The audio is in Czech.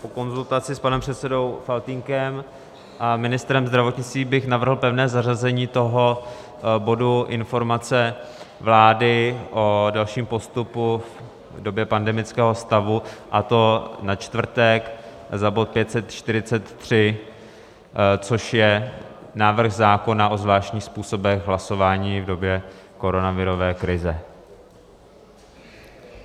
Po konzultaci s panem předsedou Faltýnkem a ministrem zdravotnictví bych navrhl pevné zařazení toho bodu Informace vlády o dalším postupu v době pandemického stavu, a to na čtvrtek za bod 543, což je návrh zákona o zvláštních způsobech hlasování v době koronavirové krize.